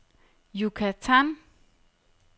Yucatan